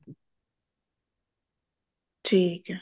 ਠੀਕ ਆ